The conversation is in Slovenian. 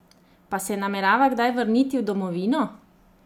Pa se namerava kdaj vrniti v domovino?